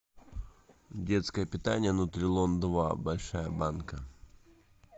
детское питание нутрилон два большая банка